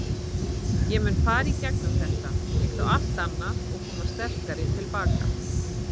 Ég mun fara í gegnum þetta, líkt og allt annað og koma sterkari til baka.